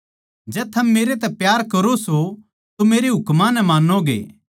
जै थम मेरै तै प्यार करो सो तो मेरे हुकमां नै मान्नोगे